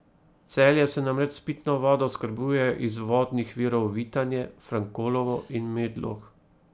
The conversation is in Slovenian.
Celje se namreč s pitno vodo oskrbuje iz vodnih virov Vitanje, Frankolovo in Medlog.